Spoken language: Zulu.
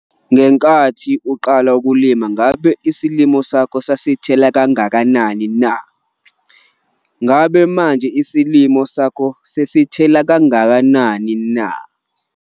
Ngenkathi uqala ukulima ngabe isilimo sakho sasithela kangakanani na? Ngabe manje isilimo sakho sakho sesithela kangakanani na?